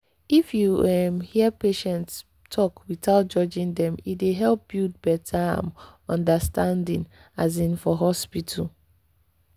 if you um hear patient talk without judging dem e dey help build better um understanding um for hospital.